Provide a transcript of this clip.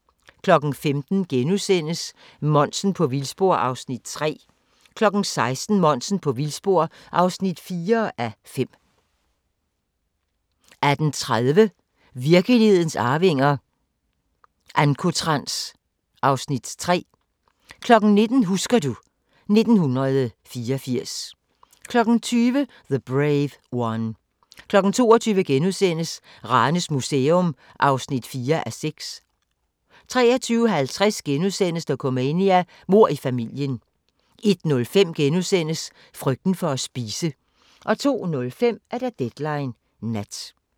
15:00: Monsen på vildspor (3:5)* 16:00: Monsen på vildspor (4:5) 18:30: Virkelighedens arvinger: Ancotrans (Afs. 3) 19:00: Husker du ... 1984 20:00: The Brave One 22:00: Ranes Museum (4:6)* 23:50: Dokumania: Mord i familien * 01:05: Frygten for at spise * 02:05: Deadline Nat